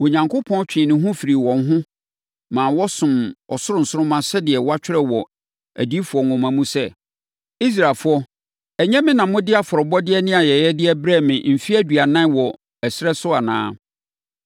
Onyankopɔn twee ne ho firii wɔn ho ma wɔsomm ɔsoro nsoromma sɛdeɛ wɔatwerɛ wɔ adiyifoɔ nwoma mu sɛ, “ ‘Israelfoɔ, ɛnyɛ me na mode afɔrebɔdeɛ ne ayɛyɛdeɛ brɛɛ me mfeɛ aduanan wɔ ɛserɛ so anaa?